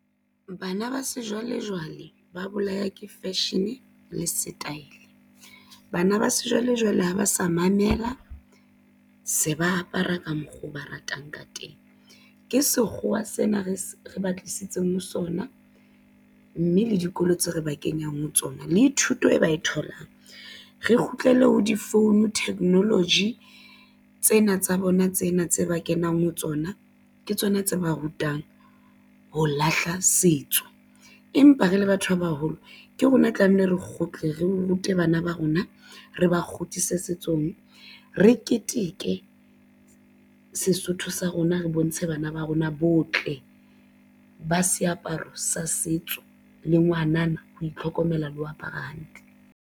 Bana ba sejwalejwale ba bolaya ke fashion le setaele bana ba sejwalejwale ha ba sa mamela se ba apara ka mokgwa oo ba ratang ka teng ke sekgowa sena re se re ba tlisitseng ho sona mme le dikolo tse re ba kenyang ho tsona le ithuta e ba e tholang. Re kgutlele ho di-phone technology tsena tsa bona tsena tse ba kenang ho tsona ke tsona tse ba rutang ho lahla setso empa re le batho ba baholo ke rona tlamehile re kgutle re rute bana ba rona re ba kgutlise setsong re keteke Sesotho sa rona re bontshe bana ba rona botle ba seaparo sa setso le ngwana na ho itlhokomela le ho apara hantle.